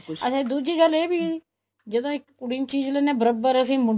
ਦੂਜੀ ਗੱਲ ਇਹ ਵੀ ਜਦੋ ਇੱਕ ਕੁੜੀ ਨੂੰ ਚੀਜ਼ ਲੈਂਦੇ ਹਾਂ ਤਾਂ ਬਰੋਬਰ ਇੱਕ ਮੁੰਡੇ ਨੂੰ